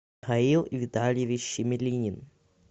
аил витальевич щемелинин